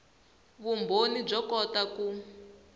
vumbhoni byo kota ku